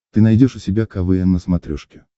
ты найдешь у себя квн на смотрешке